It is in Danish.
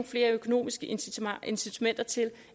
flere økonomiske incitamenter til